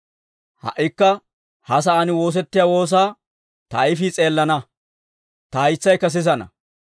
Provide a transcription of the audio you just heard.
Ha"ikka ha sa'aan woosettiyaa woosaa ta ayfii s'eelana; ta haytsaykka sisana.